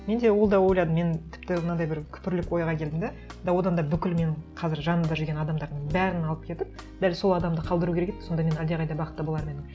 мен де ол да ойлайдым мен тіпті мынандай бір күпірлік ойға келдім де да одан да бүкіл менің қазір жанымда жүрген адамдардың бәрін алып кетіп дәл сол адамды қалдыру керек еді сонда мен әлдеқайда бақытты болар ма едім